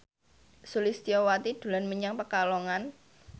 Sulistyowati dolan menyang Pekalongan